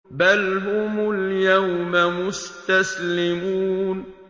بَلْ هُمُ الْيَوْمَ مُسْتَسْلِمُونَ